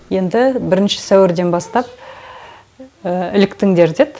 енді бірінші сәуірден бастап іліктіңдер деді